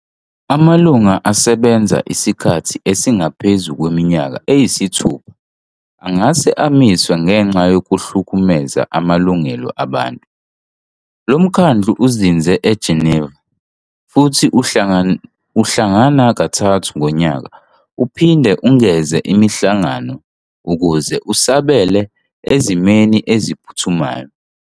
Amalungu asebenza isikhathi esingaphezu kweminyaka eyisithupha futhi angase amiswe ngenxa yokuhlukumeza amalungelo abantu. Lo mkhandlu uzinze eGeneva, futhi uhlangana kathathu ngonyaka, uphinde ungeze imihlangano ukuze usabele ezimeni eziphuthumayo.